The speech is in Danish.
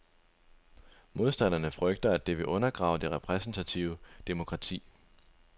Modstanderne frygter, at det vil undergrave det repræsentative demokrati.